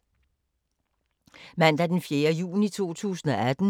Mandag d. 4. juni 2018